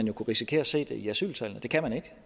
jo kunne risikere at se det i asyltallene det kan vi ikke